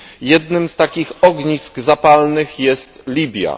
Jednym z takich ognisk zapalnych jest Libia.